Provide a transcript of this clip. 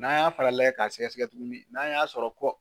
N'an y'a fara layɛ k'a sɛgɛsɛgɛ tuguni n'an y'a sɔrɔ